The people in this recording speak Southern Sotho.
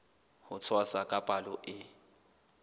ho tshwasa ka palo e